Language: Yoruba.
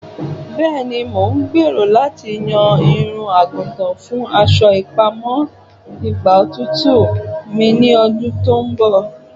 Bẹẹni, Mo n gbero lati yan irun-agutan fun aṣọ ipamọ igba otutu mi ni ọdun ti n bọ